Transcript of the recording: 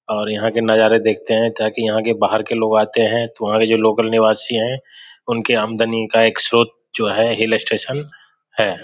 और यहां के नजारा देखते हैं ताकि यहां के बाहर के लोग आते हैं तो वहां के जो लोकल निवासी है उनके आमदनी का एक स्रोत जो है हिल स्टेशन है।